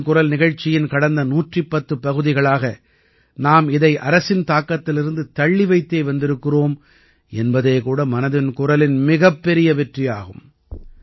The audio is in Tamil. மனதின் குரல் நிகழ்ச்சியின் கடந்த 110 பகுதிகளாக நாம் இதை அரசின் தாக்கத்திலிருந்து தள்ளி வைத்தே வந்திருக்கிறோம் என்பதே கூட மனதின் குரலின் மிகப்பெரிய வெற்றியாகும்